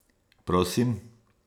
Prosim!